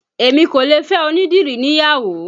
Èmi kò lè fẹ́ onídìrí níyàwó